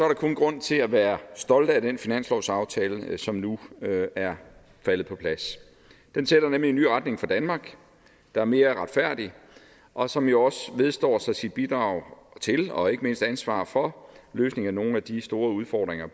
der kun grund til at være stolt af den finanslovsaftale som nu er faldet på plads den sætter nemlig en ny retning for danmark der er mere retfærdig og som jo også vedstår sig sit bidrag til og ikke mindst ansvar for løsningen af nogle af de store udfordringer